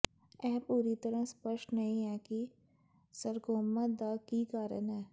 ਇਹ ਪੂਰੀ ਤਰ੍ਹਾਂ ਸਪੱਸ਼ਟ ਨਹੀਂ ਹੈ ਕਿ ਸਰਕੋਮਾ ਦਾ ਕੀ ਕਾਰਨ ਹੈ